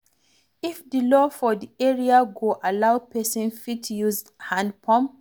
If di law for di area go allow, person fit use hand pump